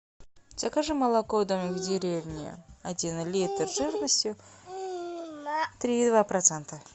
закажи молоко домик в деревне один литр жирностью три и два процента